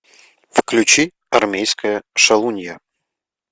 включи армейская шалунья